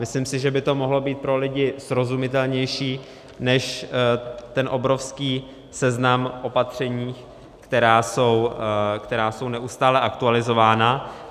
Myslím si, že by to mohlo být pro lidi srozumitelnější než ten obrovský seznam opatření, která jsou neustále aktualizována.